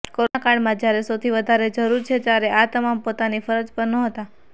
corona કાળમાં જ્યારે સૌથી વધારે જરૂર છે ત્યારે આ તમામ પોતાની ફરજ પર હાજર નહોતા